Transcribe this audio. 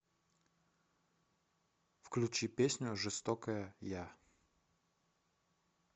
включи песню жестокая я